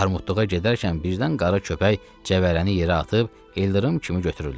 Armudluğa gedərkən birdən qara köpək cəvərəni yerə atıb ildırım kimi götürüldü.